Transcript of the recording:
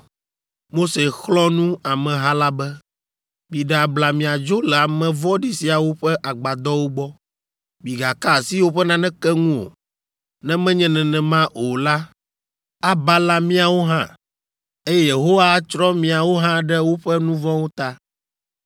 Mose xlɔ̃ nu ameha la be, “Miɖe abla miadzo le ame vɔ̃ɖi siawo ƒe agbadɔwo gbɔ; migaka asi woƒe naneke ŋu o, ne menye nenema o la, abala míawo hã, eye Yehowa atsrɔ̃ miawo hã ɖe woƒe nu vɔ̃wo ta.”